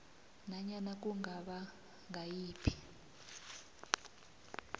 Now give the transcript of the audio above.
nanyana kungaba ngayiphi